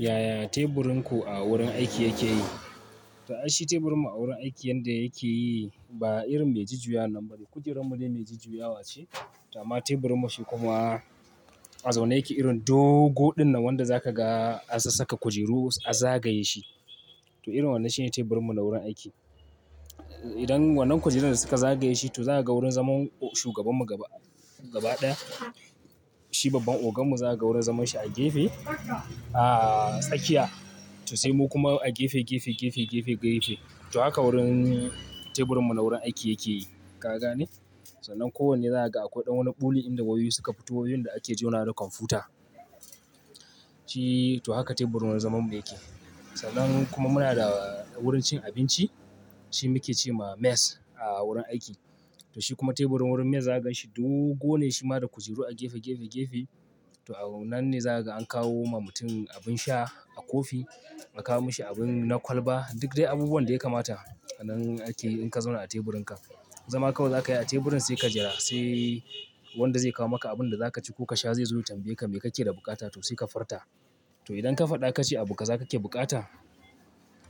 Yaya teburin ku a wurin aiki yake yi? To aishi teburin mu a wurin aiki yanda yake yi, ba irin mai jujjuya nan ba ne. Kujerun mu ne mai jujjuya wa ce, to amma teburin mu shi kuma a zaune yake irin dogo ɗinnan wanda za ka ga an sa saka kujeru a zagaye shi. To irin wannan shi ne teburin mu na wurin aiki. Idan wannan kujerun da suka zagaye shi to za ka ga wurin zaman shugaban mu gaba, gaba ɗaya. Shi babban ogan mu za ka ga wurin zaman shi a gefe, a tsakiya. To sai mu kuma a gefe, gefe, gefe, gefe, gefe. To haka wurin, teburin mu na wurin aiki yake yi. Ka gane? Sannan ko wanne za ka ga akwai ɗan wani ɓule inda wayoyi suka fito wayoyin da ake jona da kwamfuta. Shi to haka teburin wurin zaman mu yake. Sannan kuma muna da wurin cin abinci. Shi muke ce ma mess a wurin aiki. To shi kuma teburin wurin mess za ka gan shi dogo ne shima da kujeru a gefe, gefe, gefe. To a wannan ne za ka ga an kawo ma mutum abin sha, a kofi, a kawo mashi abin na kwalba. Duk dai abubuwan da ya kamata a nan akeyi in ka zauna a teburin ka. Zama kawai za ka yi a teburin sai ka jira sai wanda zai kawo maka abin da za ka ci ko ka sha zai zo ya tambaye ka me kake da bukata to sai ka furta. To idan ka faɗa kace abu ka, za ka ke bukata?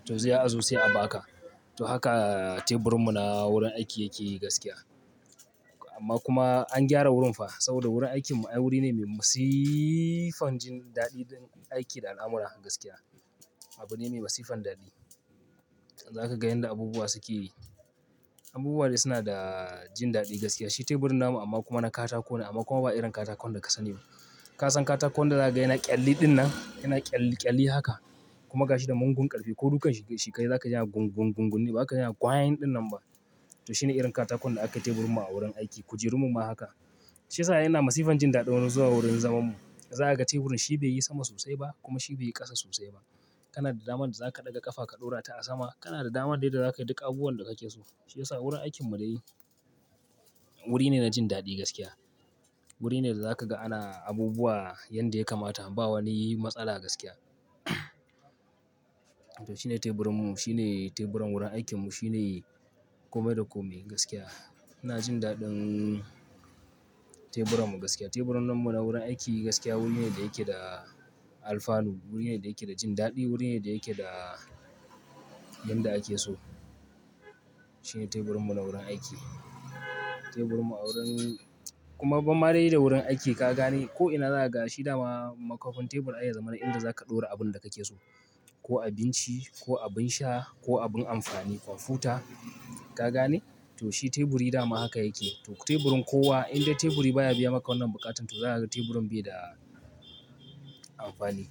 To zai a zo sai a ba ka. To haka teburin mu na wurin aiki yake yi gaskiya. Amma kuma an gyara wurin fa saboda wurin aikin mu wuri ne mai masifan jin daɗi don aiki da al'amura gaskiya. Abu ne mai masifan daɗi. Zaka ga yanda abubuwa suke yi. Abubuwa ne suna da jin daɗi gaskiya. Shi teburin namu amma kuma na katako ne amma kuma ba irin katakon da ka sani ba. Ka san katakon da za ka gani yana ƙyalli ɗinnan, yana ƙyalli ƙyalli haka kuma ka shi da mongun ƙarfe ko dukan shi ka yi za ka ji yana gungun gungun ne, ba ka ji yana ƙwayin ɗinnan ba. To shi ne irin katakon da aka yi teburin mu a wurin aiki. Kujerun mu ma haka. Shi yasa ai ina masifan jin daɗi wani zuwa wurin zaman mu. Za ka ga teburin shi bai yi sama sosai ba kuma shi bai yi ƙasa sosai ba. Kana da damar da za ka ɗaga ƙafa ka ɗora ta a sama. Kana da damar dai da za ka yi duk abubuwan da kake so. Shi yasa wurin aikin mu dai wuri ne na jin daɗi gaskiya. Wuri ne da za ka ga ana abubuwa yanda ya kamata ba wani matsala gaskiya. To shine teburinmu shine teburan warin aikinmu, shine komai da komai gaskiya. Ina jin dadin teburan mu gaskiya, teburan namu na warin aiki gaskiya wuri ne da yake da alfanu, wuri ne da yake da jin dadi wuri ne da yake da yanda ake so. Shi ne teburin mu na wurin aiki. Teburin mu a wurin, kuma babban marai da wurin aiki ka gane ko'ina za ka ga shi dama makafin tebur ai ya zama na inda za ka ɗora abin da kake so. Ko abinci, ko abin sha, ko abin amfani, kwamfuta. Kagane? To shi teburi dama haka yake. To teburin kowa idan dai teburi baya biya maka wannan buƙatan to za ka ga teburin bai da amfani.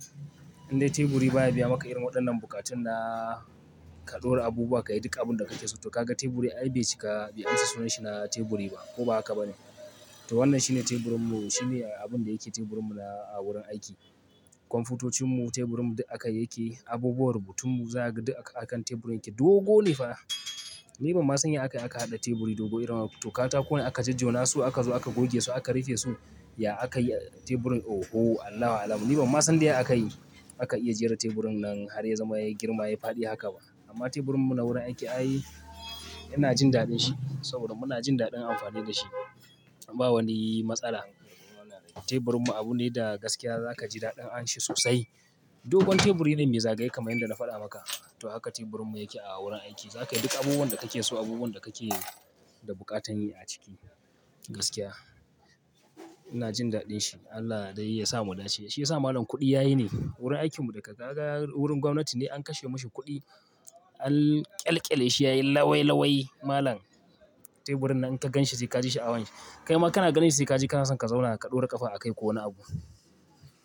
Idan dai teburi baya biya maka irin waɗannan buƙatun da ka ɗora abubuwa ka yi duk abin da kake so to ka ga teburi ai bai cika, bai amsa sunan shi na teburi ba ko ba haka ba ne. To wannan shi ne teburin mu, shi ne abun da yake teburin mu na a wurin aiki. Kwamfutocin mu teburin mu duk aka yake abubuwan rubutun mu za ka ga duk a kan teburin yake dogo ne fa. Ni ban masan ya akayi aka haɗa teburi Dogo irin wannan, to katakone aka jajjonasu akazo aka gogesu aka rufesu? Ya aka yi teburin? Oho Allahu alam. Ni ban ma san dai aka yi, aka iya jera teburin nan har ya zama ya yi girma ya yi faɗi haka ba. Amma teburin mu na wurin aiki ai ina jin daɗin shi saboda muna jin daɗin amfani da shi. Ba wani matsala. Teburin mu abu ne da gaskiya za ka ji daɗin anshi sosai. Dogon teburi ne mai zagaye kamar yadda na faɗa maka. To haka teburin mu yake a wurin aiki. Za ka yi duk abubuwan da kake so, abubuwan da kake da buƙatan yi a ciki gaskiya. Ina jin daɗin shi. Allah dai ya sa mudace. Shi yasa malam kuɗi yayi ne. Wurin aikin mu da ka ga wurin gwamnati ne an kashe mashi kuɗi an ƙyalƙyale shi ya yi lawai lawai malam. Teburin nan in ka gan shi sai ka ji shi awon shi. Kai ma kana ganin shi sai ka ji kana son ka zauna ka ɗora ƙafa a kai ko wani abu.